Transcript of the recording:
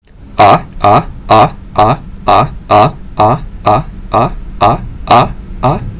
а а а а а а а а а а а а